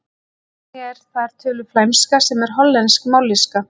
Einnig er þar töluð flæmska sem er hollensk mállýska.